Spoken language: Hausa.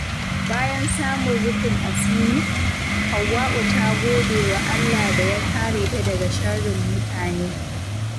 Bayan samun rufin asiri, Hauwa’u ta gode wa Allah da ya kare ta daga sharrin mutane.